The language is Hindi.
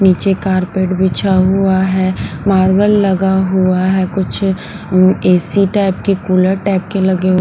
नीचे कारपेट बिछा हुआ है मार्बल लगा हुआ है कुछ एसी टाइप की कूलर टाइप के लगे।